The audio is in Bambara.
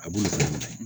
A b'olu lamɛn